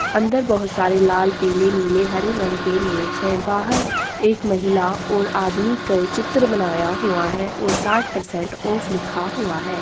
अंदर बहुत सारे लाल पीले नीले हरे रंग के नेल्स हैं बाहर एक महिला और आदमी का चित्र बनाया हुआ है और साठ परसेंट ऑफ लिखा हुआ है।